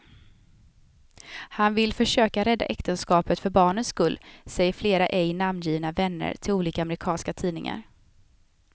Han vill försöka rädda äktenskapet för barnens skull, säger flera ej namngivna vänner till olika amerikanska tidningar.